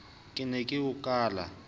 ke ne ke o kala